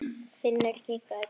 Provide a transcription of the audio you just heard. Finnur kinkaði kolli.